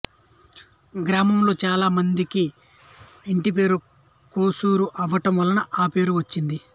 గ్రామంలో చాలా మందికి ఇంటిపేరు కోసూరు అవ్వడం వలన ఆ పేరు వచ్చింది